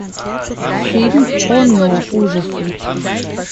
фильм оно ужасы